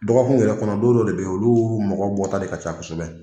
Dɔgɔ kun yɛrɛ kɔnɔ don dɔ de bɛ ye olu mɔgɔ bɔta de ka ca kosɛbɛ.